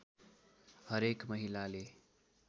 हरेक महिलाले